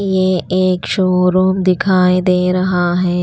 यह एक शोरूम दिखाई दे रहा है।